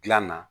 Gilan na